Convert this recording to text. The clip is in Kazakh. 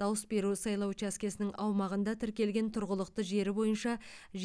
дауыс беру сайлау учаскесінің аумағында тіркелген тұрғылықты жері бойынша